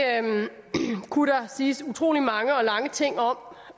kunne der siges utrolig mange og lange ting om